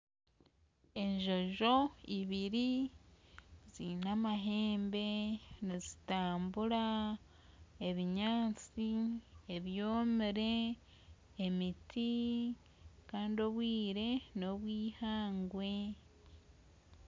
Enjojo ibiri zine amahembe nizitambura ebinyantsi ebyomire emit kandi obwire nobwihangwe